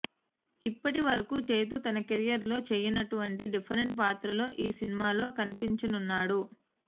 ఇప్పటి వరకు చైతూ తన కెరీర్లో చేయనటువంటి డిఫరెంట్ పాత్రలో ఈ సినిమాలో కనిపించనున్నాడు